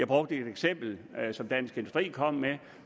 brugt et eksempel som dansk industri er kommet med